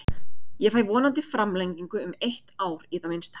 Ég fæ vonandi framlengingu um eitt ár í það minnsta.